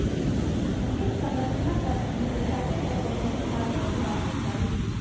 अंतिम समचना तक भी प्रशासन और प्रदर्शनकारियों की बातचीत जारी थी